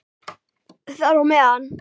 Þar á meðal